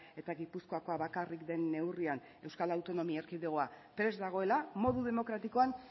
eta gipuzkoakoa bakarrik den neurrian euskal autonomia erkidegoa prest dagoela modu demokratikoan